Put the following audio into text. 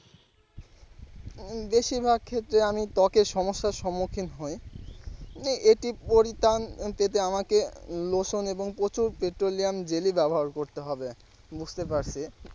উম বেশিরভাগ ক্ষেত্রে আমি ত্বকের সমস্যার সমুক্ষিন হয় যে এটি পরিত্রান পেতে আমাকে lotion এবং প্রচুর petroleum jelly ব্যবহার করতে হবে বুঝতে পারসি।